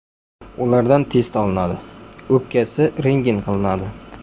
Ulardan test olinadi, o‘pkasi rentgen qilinadi.